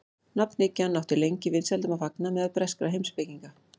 Nafnhyggjan átti lengi vinsældum að fagna meðal breskra heimspekinga.